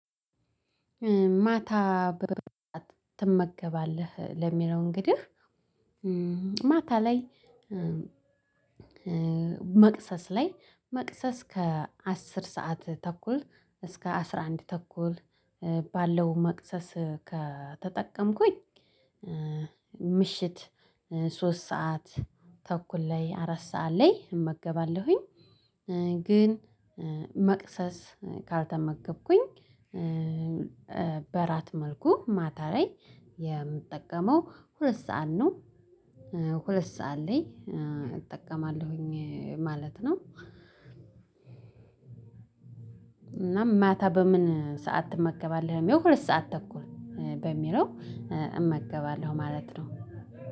ማታ ትመገባለህ ለሚለው እንግዲህ ማታ ላይ መቅሰስ ላይ መቅሰስ ከአስር ሰዓት ተኩል እስከ አስራ አንድ ተኩል ባለው መቅሰስ ከተጠቀምኩኝ ምሽት ሶስት ሰዓት ተኩል ላይ አራት ሰዓት ላይ እመገባለሁኝ። ግን መቅሰስ ካልተመገብኩኝ በራት መልኩ ማታ ላይ የምጠቀመው ሁለት ሰዓት ነው። ሁለት ሰዓት ላይ እጠቀማለሁኝ ማለት ነው። እና ማታ በምን ሰዓት ትመገባለህ የሁለት ሰዓት ተኩል በሚለው እመገባለሁ ማለት ነው።